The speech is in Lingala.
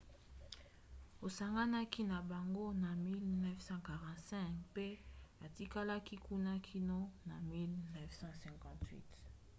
asanganaki na bango na 1945 mpe atikalaki kuna kino na 1958